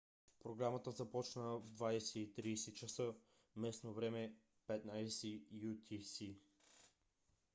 програмата започна в 20:30 ч. местно време 15.00 utc